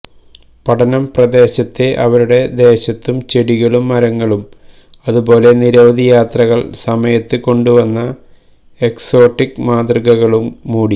പഠനം പ്രദേശത്തെ അവരുടെ ദേശത്തു ചെടികളും മരങ്ങളും അതുപോലെ നിരവധി യാത്രകൾ സമയത്ത് കൊണ്ടുവന്ന എക്സോട്ടിക് മാതൃകകളും മൂടി